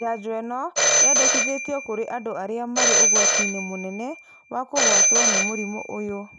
Njajo ino yendekithagio kũrĩ andũ arĩa marĩ ũgwati-inĩ mũnene wa kũgwatwo nĩ mũrimũ ũyũ